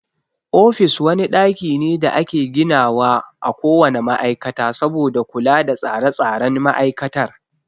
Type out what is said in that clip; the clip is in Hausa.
Ofis wani ɗaki ne da ake gina wa a ko wane ma'aikata saboda kula da tsare tsaren ma'aikatar.